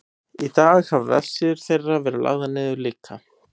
í dag hafa vefsíður þeirra verið lagðar niður líka